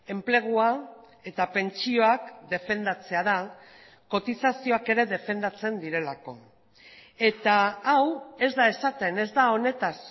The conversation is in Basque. enplegua eta pentsioak defendatzea da kotizazioak ere defendatzen direlako eta hau ez da esaten ez da honetaz